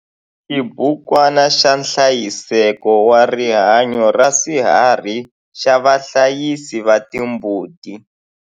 Xibukwana xa nhlayiseko wa rihanyo ra swiharhi xa vahlayisi va timbuti.